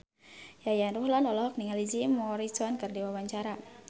Yayan Ruhlan olohok ningali Jim Morrison keur diwawancara